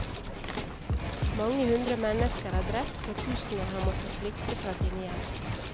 Mange hundre mennesker er drept og tusener har måttet flykte fra sine hjem.